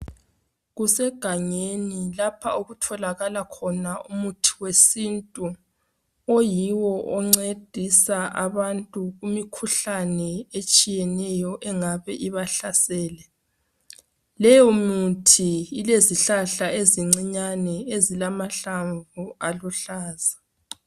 Kusegangeni lapha okutholakala khona umuthi wesintu oyiwo oncedisa abantu kumikhuhlane etshiyeneyo engabe ibahlasela .Leyo mithi ilezihlahla ezincane ezilamahlamvu aluhlaza .